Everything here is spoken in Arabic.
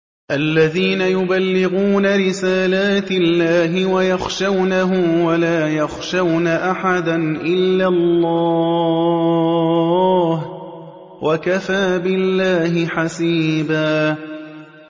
الَّذِينَ يُبَلِّغُونَ رِسَالَاتِ اللَّهِ وَيَخْشَوْنَهُ وَلَا يَخْشَوْنَ أَحَدًا إِلَّا اللَّهَ ۗ وَكَفَىٰ بِاللَّهِ حَسِيبًا